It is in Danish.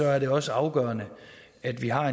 er det også afgørende at vi har